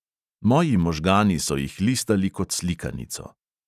Moji možgani so jih listali kot slikanico.